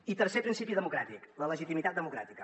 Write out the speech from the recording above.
i tercer principi democràtic la legitimitat democràtica